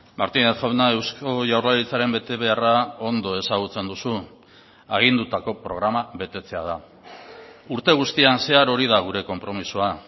martínez jauna eusko jaurlaritzaren betebeharra ondo ezagutzen duzu agindutako programa betetzea da urte guztian zehar hori da gure konpromisoa